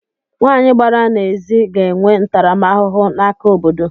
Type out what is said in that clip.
Nwanyị gbara n’ezi ga-enwe ntaramahụhụ n’aka obodo